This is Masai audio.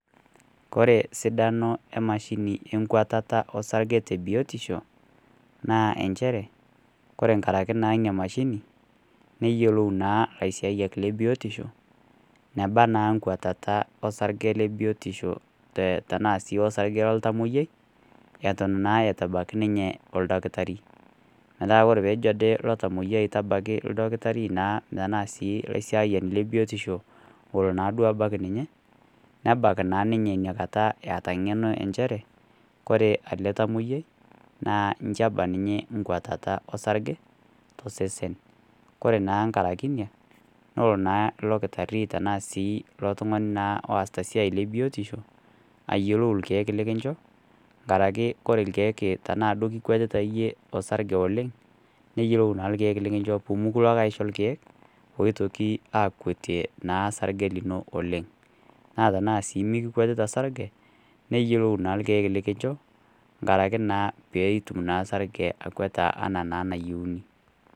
Kore sidano e mashini enkwatata o sarge te biotisho, naa enchere, Kore enkaraki naa ina mashini neyioulou naa ilaisiayiak le biotisho, neba naa nkwatata osarge le biotisho tenaa sii osarge loltamwoiyai, eton naa eitu ebaiki ninye naa oldakitari. Metaa Kore ade pee ejo ilo tamwoiyai ajo tabaiki oldakitari naa tanaa sii ilaisiayiak le biotisho, ore naa duo ebaiki ninye nebak naa ninye Ina kata eata Ina ng'eno e nchere Kore ele tamwoiyai naa inchi ena ninye enkwatata osarge tosesen, Kore naa enkara ake inia nelo naa ilo kitari anaa sii ilo tung'ani naa oasita biotisho ayiolou ilkeek lekincho nkaraki Kore ilkeek tanaa duo kikwetita iyie osarge oleng', neyioulou naa ilkeek lekilo aisho pee mikincho ilkeek oitoki aakwetie naa sarge lino oleng'. Naa tanaa sii mekikwetita osarge neyioulou naa ilkeek lekincho inkaraki naa peetum naa osarge akweta anaa naa enayiouni.